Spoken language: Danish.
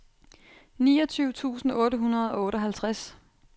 niogtyve tusind otte hundrede og otteoghalvtreds